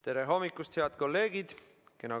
Tere hommikust, head kolleegid!